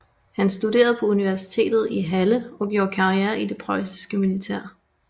Han studerede på universitetet i Halle og gjorde karriere i det preussiske militær